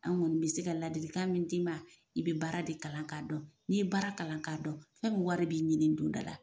Anw kɔni be se ka ladilikan min d'i ma, i be baara de kalan ka dɔn. N'i ye baara kalan ka dɔn ,fɛn min wari b'i ɲini dondɔ la.